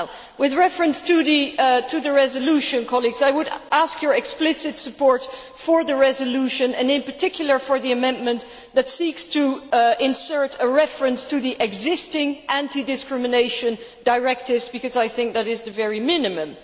With reference to the resolution, colleagues, I would ask for your explicit support for the resolution and, in particular, for the amendment that seeks to insert a reference to the existing anti discrimination directives, because I think that is the very minimum.